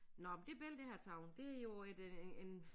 Nåh men det billede jeg har taget det jo et øh en